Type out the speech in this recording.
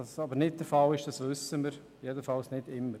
Dass dies nicht oder nicht immer der Fall ist, wissen wir.